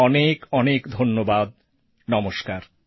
অনেক অনেক ধন্যবাদ নমস্কার